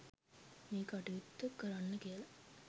මේ කටයුත්ත කරන්න කියලා